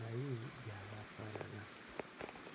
naye gy'aba afaanana.